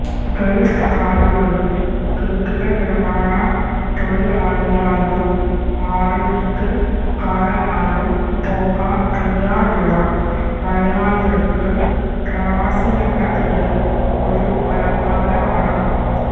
Gulf നാടുകളിൽ കെട്ടിട നിർമ്മാണ തൊഴിലാളിയായോ ആടുമേയ്ക്കൽകാരനായോ പോകാൻ തയാറുള്ള മലയാളിക്ക് പ്രവാസിയെന്ന പേര് ഒരു അലങ്കാരമാണ്